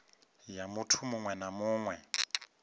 ya muiti muṅwe na muṅwe